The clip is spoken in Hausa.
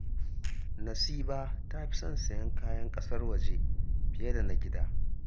Nasiba ta fi son sayen kayan ƙasar waje fiye da na gida